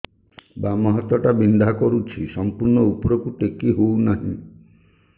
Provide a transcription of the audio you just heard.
ବାମ ହାତ ଟା ବିନ୍ଧା କରୁଛି ସମ୍ପୂର୍ଣ ଉପରକୁ ଟେକି ହୋଉନାହିଁ